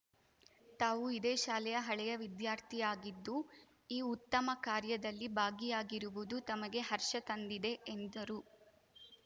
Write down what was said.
ತಾವು ಇದೇ ಶಾಲೆಯ ಹಳೆಯ ವಿದ್ಯಾರ್ಥಿಯಾಗಿದ್ದು ಈ ಉತ್ತಮ ಕಾರ್ಯದಲ್ಲಿ ಭಾಗಿಯಾಗಿರುವುದು ತಮಗೆ ಹರ್ಷ ತಂದಿದೆ ಎಂದರು